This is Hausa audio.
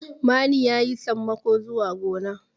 mani ya yi sammako zuwa gona